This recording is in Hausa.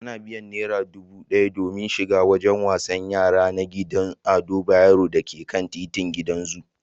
Ana biyan naira dubu ɗaya don shiga wajen wasan yara na gidan Ado Bayero da ke titin gidan zu.